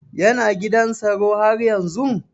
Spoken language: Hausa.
Yana gidan tsaro haryanzun?